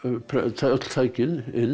öll tækin inn